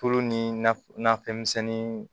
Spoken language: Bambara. Tulo ni naf nafɛn misɛnnin